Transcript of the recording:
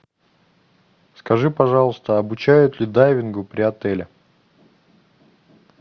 скажи пожалуйста обучают ли дайвингу при отеле